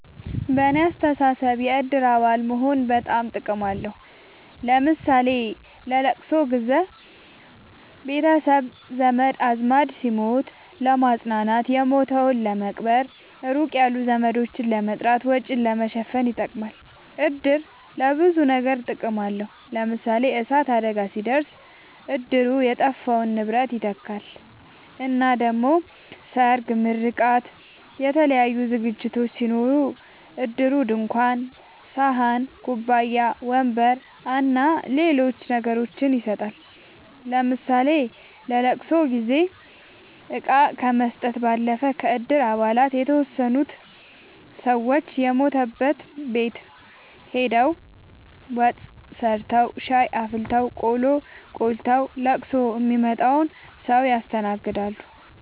በኔ አስተሳሰብ የእድር አባል መሆን በጣም ጥቅም አለዉ ለምሳሌ ለለቅሶ ጊዘ ቤተሰብ ዘመድአዝማድ ሲሞት ለማጽናናት የሞተዉን ለመቅበር ሩቅ ያሉ ዘመዶችን ለመጥራት ወጪን ለመሸፈን ይጠቅማል። እድር ለብዙ ነገር ጥቅም አለዉ ለምሳሌ የእሳት አደጋ ሲደርስ እድሩ የጠፋውን ንብረት ይተካል እና ደሞ ሰርግ ምርቃት የተለያዩ ዝግጅቶች ሲኖሩ እድሩ ድንኳን ሰሀን ኩባያ ወንበር አና ሌሎች ነገሮችን ይሰጣል ለምሳሌ ለለቅሶ ጊዜ እቃ ከመስጠት ባለፈ ከእድር አባላት የተወሰኑት ሰወች የሞተበት ቤት ሆደው ወጥ ሰርተዉ ሻይ አፍልተው ቆሎ ቆልተዉ ለቅሶ ሚመጣዉን ሰዉ ያስተናግዳሉ።